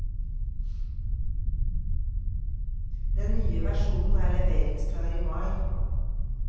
Den nye versjonen er leveringsklar i mai.